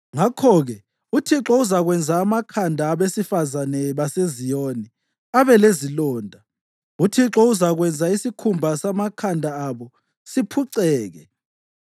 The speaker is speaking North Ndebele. Ngakho-ke uThixo uzakwenza amakhanda abesifazane baseZiyoni abe lezilonda; uThixo uzakwenza isikhumba samakhanda abo siphuceke.”